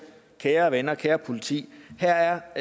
kære venner kære politi her er